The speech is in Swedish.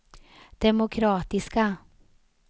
demokratiska